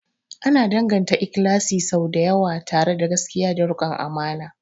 Ana danganta ikhlasi sau da yawa tare da gaskiya da rikon amana.